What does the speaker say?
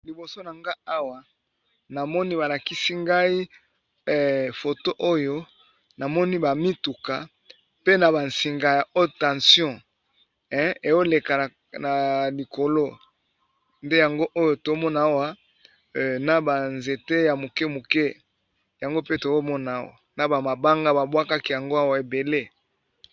Liboso na nga awa namoni ba lakisi ngai foto oyo na moni ba mituka pe na ba nsinga haute tension eoleka na likolo, nde yango oyo tomona awa na ba nzete ya moke moke yango pe tomona awa na ba mabanga ba bwakaki yango awa ebele.